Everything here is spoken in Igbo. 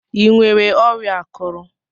Ịnwere ọrịa akụrụ?